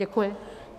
Děkuji.